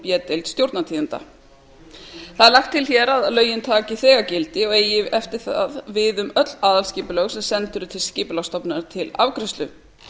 b deild stjórnartíðinda lagt er til að lögin taki þegar gildi og eigi eftir það við um öll aðalskipulag sem send eru skipulagsstofnun til afgreiðslu